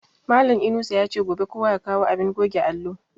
Malan Inusa yace gobe kowa ya kawo abin goge allo